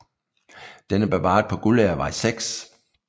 Den er bevaret på Guldagervej 6